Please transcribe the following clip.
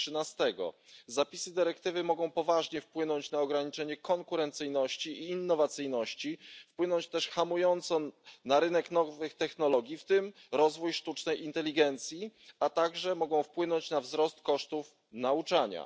i 13. Zapisy dyrektywy mogą poważnie wpłynąć na ograniczenie konkurencyjności i innowacyjności, wpłynąć też hamująco na rynek nowych technologii, w tym rozwój sztucznej inteligencji, a także wpłynąć na wzrost kosztów nauczania.